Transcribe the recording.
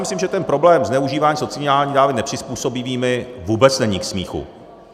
Myslím, že ten problém zneužívání sociálních dávek nepřizpůsobivými vůbec není k smíchu.